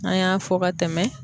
N'an y'a fɔ ka tɛmɛ